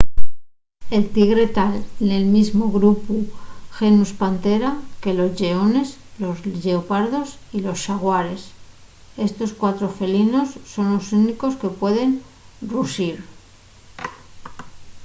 el tigre ta nel mesmu grupu genus panthera que los lleones los lleopardos y los xaguares. estos cuatro felinos son los únicos que pueden ruxir